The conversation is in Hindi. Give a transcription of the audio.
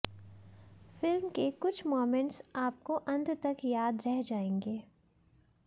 फिल्म के कुछ मोमेंट्स आपको अंत तक याद रह जाएंगे